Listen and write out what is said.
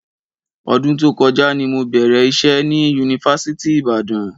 Ọdún tó kọjá ni mo bẹ̀rẹ̀ iṣẹ́ ni Yunifásitì Ìbàdàn.